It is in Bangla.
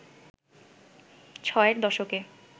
ছয়ের দশকে